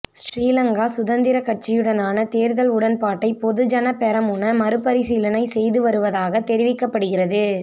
ஸ்ரீலங்கா சுதந்திரக் கட்சியுடனான தேர்தல் உடன்பாட்டை பொதுஜனபெரமுன மறுபரிசீலனை செய்து வருவதாக தெரிவிக்கப்படுகிறது